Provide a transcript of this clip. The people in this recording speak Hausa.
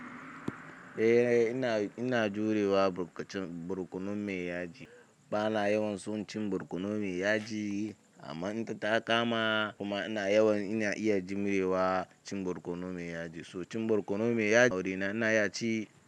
Eh, ina, ina jurewa burkac-barkonu me ya ji. Bana yawan so cin barkono me ya ji amma in fta ta kama kuma ina yawan ina iya jimrewa cin barkono me ya ji. So cin barkono me ya ji, awuri na ina iya ci.